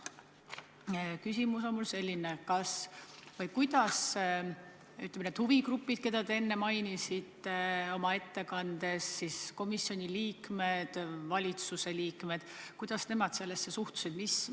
Mu küsimus on selline: kuidas need huvigrupid, keda te enne oma ettekandes mainisite – komisjoni liikmed, valitsuse liikmed –, sellesse suhtusid?